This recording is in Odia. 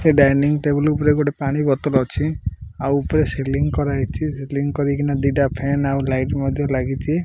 ସେଇ ଡାଇନିଂ ଟେବୁଲ୍ ଉପରେ ଗୋଟେ ପାଣି ବତଲ୍ ଅଛି। ଆଉ ଉପରେ ସିଲିଂ କରା ହେଇଚି। ସିଲିଂ କରିକିନା ଦିଟା ଫ୍ୟାନ୍ ଆଉ ଲାଇଟ୍ ମଧ୍ୟ ଲାଗିଚି।